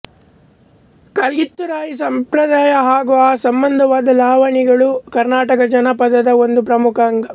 ಕಲ್ಗಿತುರಾಯಿ ಸಂಪ್ರದಾಯ ಹಾಗೂ ಆ ಸಂಬಂಧವಾದ ಲಾವಣಿಗಳು ಕರ್ನಾಟಕ ಜಾನಪದದ ಒಂದು ಪ್ರಮುಖ ಅಂಗ